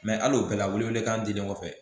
al'o bɛɛ la wele welekan dilen kɔfɛ